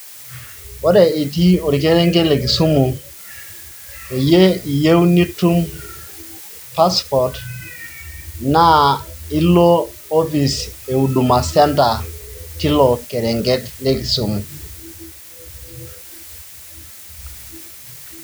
Ore itii orkerenget le Kisumu peyie eyieu nitum passport naa ilo office e huduma centre teilo kerenget le Kisumu.